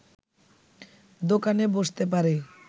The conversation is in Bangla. দোকানে বসতে পারে